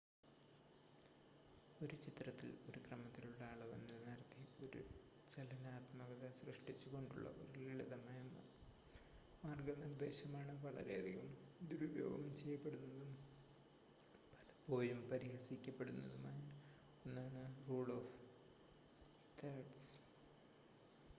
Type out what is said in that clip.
ഒരു ചിത്രത്തിൽ ഒരു ക്രമത്തിലുള്ള അളവ് നിലനിർത്തി ഒരു ചലനാത്മകത സൃഷ്‌ടിച്ചുകൊണ്ടുള്ള ഒരു ലളിതമായ മാർഗനിർദ്ദേശമാണ് വളരെയധികം ദുരുപയോഗം ചെയ്യപ്പെടുന്നതും പലപ്പോഴും പരിഹസിക്കപ്പെടുന്നതുമായ ഒന്നാണ് റൂൾ ഓഫ് തേർഡ്‌സ്